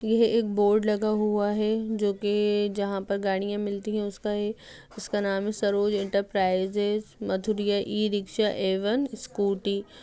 यह एक बोर्ड लगा हुआ है जो कि जहाँ पर गाड़ियां मिलती है उसका एक उसका नाम है Saroj enterprises Mathuriya e rickshaw एवं स्कूटी --